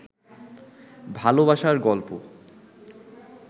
ভালোবাসার গল্প